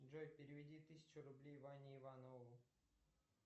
джой переведи тысячу рублей ване иванову